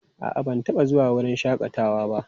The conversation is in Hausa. A'a, ban taɓa zuwa wurin shakatawa ba.